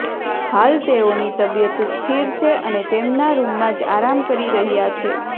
હાલ તેઓની તબિયત સ્થિર છે અને તેમના રૂમમાં જ આરામ કરી રહ્યા છે